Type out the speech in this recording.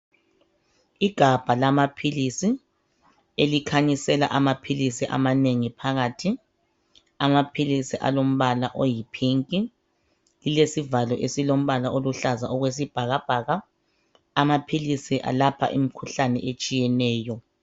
Igabha lamaphilisi elikhanyisela amaphilisi amanengi phakathi amaphilisi alombala oyi pink lilesivalo esilombala oluhlaza okwesibhakabhaka amaphilisi alapha imikhuhlane etshiyeneyo.